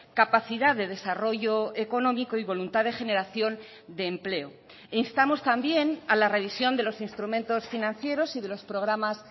capacidad de desarrollo económico y voluntad de generación de empleo e instamos también a la revisión de los instrumentos financieros y de los programas